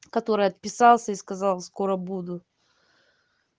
который отписался и сказал скоро буду